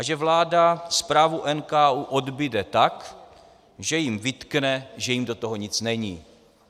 A že vláda zprávu NKÚ odbude tak, že jim vytkne, že jim do toho nic není.